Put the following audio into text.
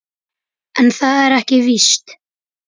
En það er ekki víst.